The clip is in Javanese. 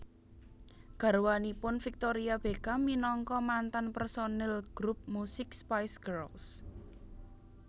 Garwanipun Victoria Beckham minangka mantan personil grup musik Spice Girls